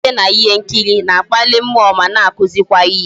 Ejije na ihe nkiri na-akpali mmụọ ma na akuzikwa ihe